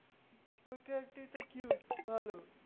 ওই character টা quit ভালো।